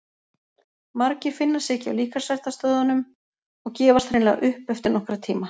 Margir finna sig ekki á líkamsræktarstöðvunum og gefast hreinlega upp eftir nokkra tíma.